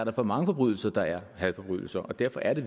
er for mange forbrydelser der er hadforbrydelser og derfor er det